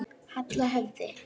Halla höfði.